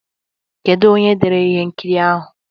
Kedu onye dere ihe nkiri ahụ?